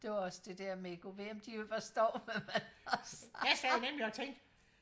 det var også det der med gud ved om de overhovedet forstår hvad man snakker om